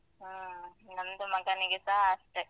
ಹ ನಂದು ಮಗನಿಗೆಸ ಅಷ್ಟೇ.